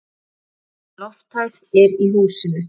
Aukin lofthæð er í húsinu.